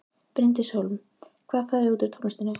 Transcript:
Bryndís Hólm: Hvað færðu út úr tónlistinni?